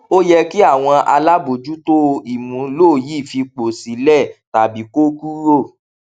ó yẹ kí àwọn alábojútó ìmúlò yìí fipò sílẹ tàbí kó kúrò